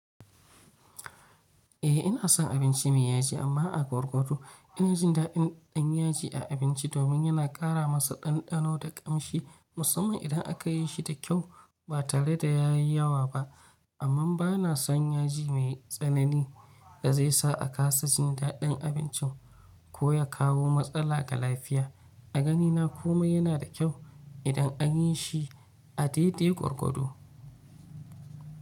Eh ina son abince mai yaji amma a gwargwado. Ina jin daɗin yaji a abince domin yana ƙara masa ɗanɗano da ƙamshi, musamman idan aka yi shi da kyau ba tare da ya yi yawa ba. Amman ba na son yaji mai tsanani da zai sa a kasa jin daɗin abincin ko ya kawo matsala ga lafiya. A ganina kuma yana da kyau idan an yi shi a daidai gurgudu.